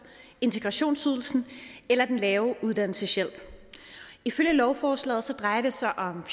integrationsydelsen eller den lave uddannelseshjælp ifølge lovforslaget drejer det sig om